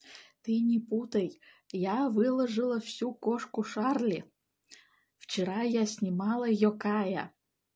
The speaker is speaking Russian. ты не путай я выложила всю кошку шерли вчера я снимала её кайя